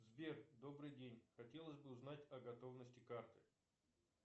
сбер добрый день хотелось бы узнать о готовности карты